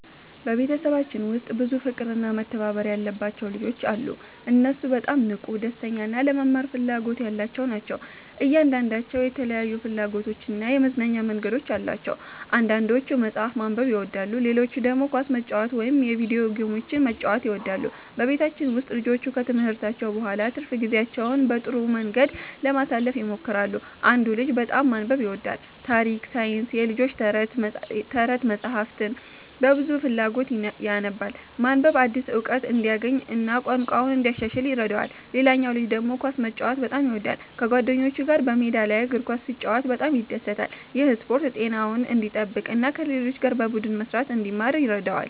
በቤተሰባችን ውስጥ ብዙ ፍቅርና መተባበር ያለባቸው ልጆች አሉ። እነሱ በጣም ንቁ፣ ደስተኛ እና ለመማር ፍላጎት ያላቸው ናቸው። እያንዳንዳቸው የተለያዩ ፍላጎቶችና የመዝናኛ መንገዶች አሏቸው። አንዳንዶቹ መጽሐፍ ማንበብ ይወዳሉ፣ ሌሎቹ ደግሞ ኳስ መጫወት ወይም የቪዲዮ ጌሞችን መጫወት ይወዳሉ። በቤታችን ውስጥ ልጆቹ ከትምህርታቸው በኋላ ትርፍ ጊዜያቸውን በጥሩ መንገድ ለማሳለፍ ይሞክራሉ። አንዱ ልጅ በጣም ማንበብ ይወዳል። ታሪክ፣ ሳይንስና የልጆች ተረት መጻሕፍትን በብዙ ፍላጎት ያነባል። ማንበብ አዲስ እውቀት እንዲያገኝ እና ቋንቋውን እንዲያሻሽል ይረዳዋል። ሌላው ልጅ ደግሞ ኳስ መጫወት በጣም ይወዳል። ከጓደኞቹ ጋር በሜዳ ላይ እግር ኳስ ሲጫወት በጣም ይደሰታል። ይህ ስፖርት ጤናውን እንዲጠብቅ እና ከሌሎች ጋር በቡድን መስራትን እንዲማር ይረዳዋል።